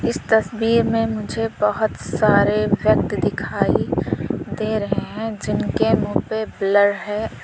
इस तस्वीर में मुझे बहोत सारे व्यक्ति दिखाई दे रहे हैं जिनके मुंह पे ब्लर है।